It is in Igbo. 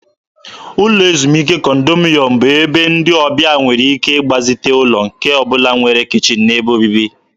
Ụlọ ezumike kọndominyọm bụ ebe ndị ọbịa nwere ike ịgbazite ụlọ nke ọ bụla nwere kichin na ebe obibi.